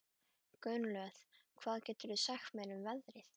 Gunnlöð, hvað geturðu sagt mér um veðrið?